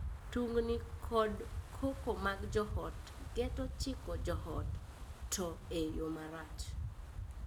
Tungni kod koko mag joot geto chiko joot, to e yoo marach.